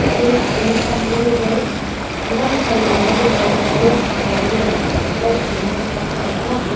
ane pam hung gi ang chong pa nu aa gatho ga a.